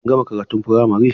Kun gama karatun firamare?